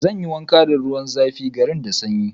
Zan yi wanka da ruwan zafi, garin da sanyi.